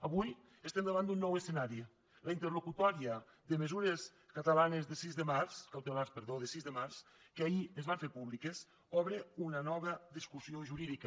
avui estem davant d’un nou escenari la interlocutòria de mesures cautelars de sis de març que ahir es van fer públiques obre una nova discussió jurídica